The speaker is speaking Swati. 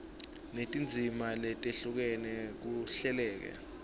netindzima letehlukene kuhleleke